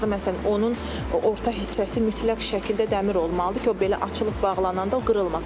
Məsələn, onun orta hissəsi mütləq şəkildə dəmir olmalıdır ki, o belə açılıb bağlana o qırılmasın.